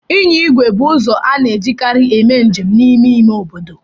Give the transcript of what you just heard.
Ịnya igwe bụ ụzọ a na-ejikarị eme njem n'ime ime obodo.